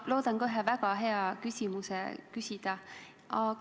Ma loodan ka ühe väga hea küsimuse küsida.